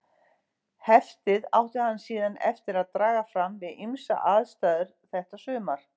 Heftið átti hann síðan eftir að draga fram við ýmsar aðstæður þetta sumar.